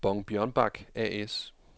Bong Bjørnbak A/S